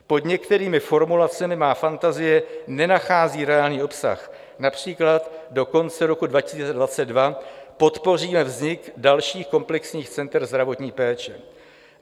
Pod některými formulacemi má fantazie nenachází reálný obsah, například: "Do konce roku 2022 podpoříme vznik dalších komplexních center zdravotní péče."